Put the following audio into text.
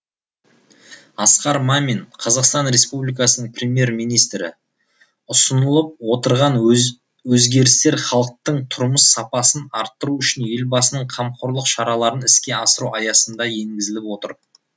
асқар мамин қазақстан республикасының премьер министрі ұсынылып отырған өзгерістер халықтың тұрмыс сапасын арттыру үшін елбасының қамқорлық шараларын іске асыру аясында енгізіліп отыр